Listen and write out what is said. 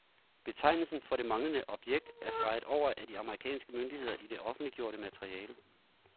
Betegnelsen for det manglende objekt er streget over af de amerikanske myndigheder i det offentliggjorte materiale.